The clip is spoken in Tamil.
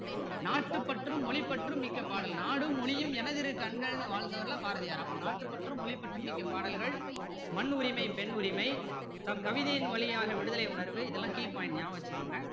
நாட்டுப்பற்றும் மொழி பற்றும் மிக்க பாடல் நாடும் மொழியும் எனதிரு கண்களுன்னுலாம் வாழ்ந்தவர் பாரதியார் அப்போ நாட்டுப்பற்றும் மொழிபற்றும் மிக்க பாடல்கள் மண்ணுரிமை பொண்ணுரிமை தம் கவிதையின் வழியாக விடுதலை உணர்வு இதெல்லாம் key point நியாபக வச்சிக்கோங்க